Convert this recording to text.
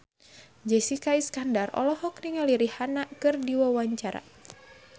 Jessica Iskandar olohok ningali Rihanna keur diwawancara